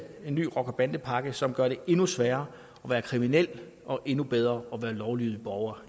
ny rocker bande pakke som gør det endnu sværere at være kriminel og endnu bedre at være lovlydig borger